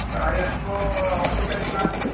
ଭାଇ ଆସିବ ଅଠେଇଶି ତାରିଖ ଦିନ ଆସିବେ